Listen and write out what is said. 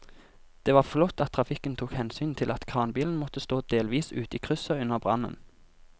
Det var flott at trafikken tok hensyn til at kranbilen måtte stå delvis ute i krysset under brannen.